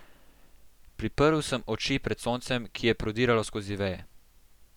Priprl sem oči pred soncem, ki je prodiralo skozi veje.